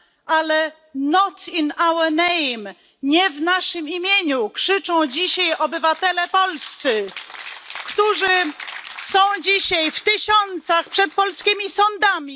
Ale nie w naszym imieniu, krzyczą dzisiaj obywatele polscy, którzy gromadzą się tysiącami przed polskimi sądami.